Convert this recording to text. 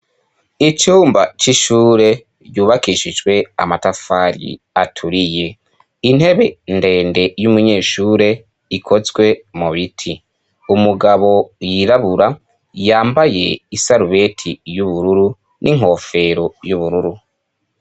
Icumba c'ishure ryubakishijwe amatafari aturiye. Intebe ndende y'umunyeshure ikozwe mu biti. Umugabo yirabura yambaye isarubeti y'ubururu, n'inkofero y'ubururu.